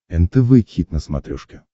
нтв хит на смотрешке